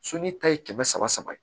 ta ye kɛmɛ saba saba ye